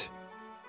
Qəst.